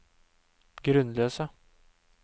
grunnløse